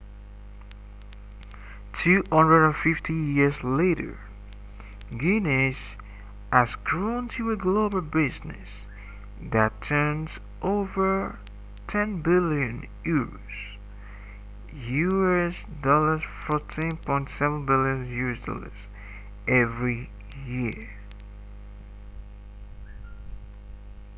250 years later guinness has grown to a global business that turns over 10 billion euros us$14.7 billion every year